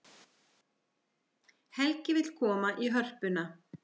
Helgi vill koma í Hörpuna